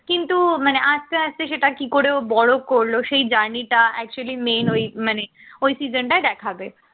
কিন্তু মানে আস্তে আস্তে সেটা কি করে ও বড় করলো সেই journey টা actually মেয়ে হয়ে মানে ওই session টাই দেখাবে